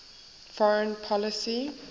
foreign policy